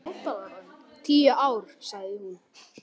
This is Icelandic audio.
Tíu ár, sagði hún.